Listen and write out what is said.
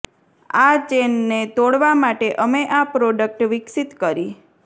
આ ચેઈનને તોડવા માટે અમે આ પ્રોડક્ટ વિકસિત કરી